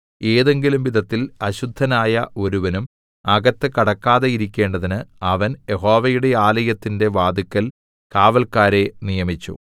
ഏതെങ്കിലും വിധത്തിൽ അശുദ്ധനായ ഒരുവനും അകത്ത് കടക്കാതെയിരിക്കേണ്ടതിന് അവൻ യഹോവയുടെ ആലയത്തിന്റെ വാതില്ക്കൽ കാവല്ക്കാരെ നിയമിച്ചു